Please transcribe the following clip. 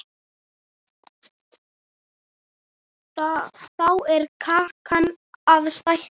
Þá er kakan að stækka.